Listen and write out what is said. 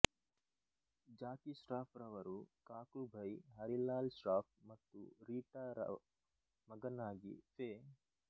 ಜಾಕಿ ಶ್ರಾಫ್ ರವರು ಕಾಕುಭೈ ಹರಿಲಾಲ್ ಶ್ರಾಫ್ ಮತ್ತು ರೀಟಾರ ಮಗನಾಗಿ ಫೆ